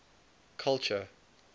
culture